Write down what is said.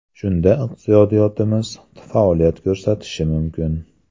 Shunda iqtisodiyotimiz faoliyat ko‘rsatishi mumkin.